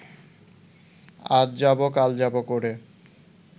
আজ যাব কাল যাব করে